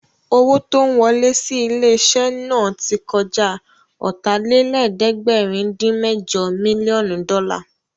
Owó tó ń wọlẹ́ sí ilé-iṣẹ́ náà tí kọjá Ọ̀tàlélẹ̀ẹ́dẹ́gbẹ̀rin-dín-mẹ́jọ mílíọ̀nù dọ́là